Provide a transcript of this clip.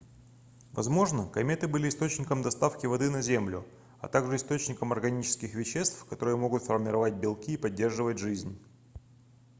возможно кометы были источником доставки воды на землю а также источником органических веществ которые могут формировать белки и поддерживать жизнь